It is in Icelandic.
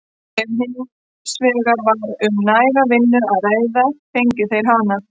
Ef hins vegar var um næga vinnu að ræða fengu þeir hana.